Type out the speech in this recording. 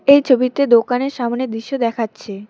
এই ছবিতে দোকানের সামনের দৃশ্য দেখাচ্ছে।